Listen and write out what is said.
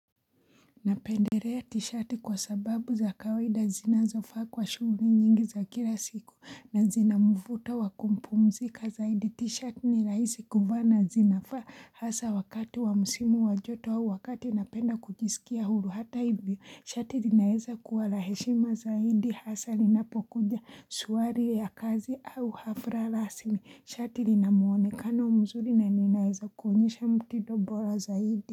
Napenderea tishati kwa sababu za kawaida zinazofaa kwa shughu nyingi za kila siku. Na zina mvuto wa kumpumzika zaidi. Tishati ni raisi kuvaa na zinafaa hasa wakati wa msimu wa joto au wakati napenda kujisikia huru. Hata hivyo, shati zinaeza kuwa na heshima zaidi hasa ninapokuja swari ya kazi au hafra rasmi. Shati lina muonekano mzuri naninaeza kuonyesha mtido bora zaidi.